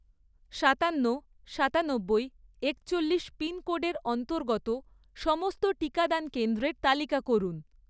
সাতান্ন, সাতানব্বই, একচল্লিশ পিনকোডের অন্তর্গত সমস্ত টিকাদান কেন্দ্রের তালিকা করুন